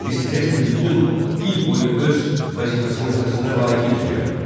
Miss Lesli bütün il boyu öz vəzifəsinin öhdəsindən layiqincə gəlib.